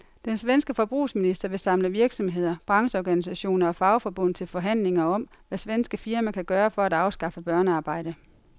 Den svenske forbrugsminister vil samle virksomheder, brancheorganisationer og fagforbund til forhandlinger om, hvad svenske firmaer kan gøre for at afskaffe børnearbejde.